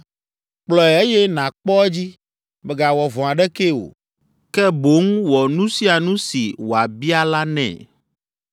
“Kplɔe eye nàkpɔ edzi, mègawɔ vɔ̃ aɖekee o, ke boŋ wɔ nu sia nu si wòabia la nɛ.”